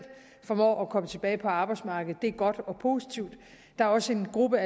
formår at komme tilbage på arbejdsmarkedet det er godt og positivt der er også en gruppe